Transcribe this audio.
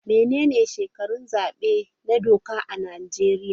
Menene shekarun zabe na doka a Najeriya?